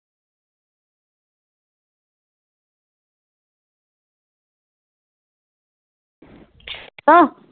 ਆ।